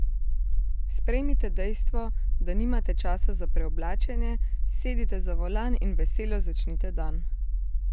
Sprejmite dejstvo, da nimate časa za preoblačenje, sedite za volan in veselo začnite dan!